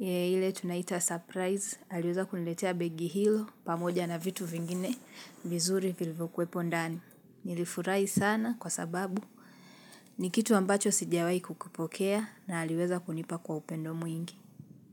ile tunaita surprise, aliweza kuniletea begi hilo pamoja na vitu vingine vizuri vilivyokuwepo ndani. Nilifurahi sana kwa sababu ni kitu ambacho sijawahi kukipokea na aliweza kunipa kwa upendo mwingi.